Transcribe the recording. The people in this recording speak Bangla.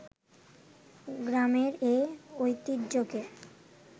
গ্রামের এ ঐতিহ্যকে